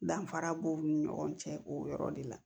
Danfara b'u ni ɲɔgɔn cɛ o yɔrɔ de la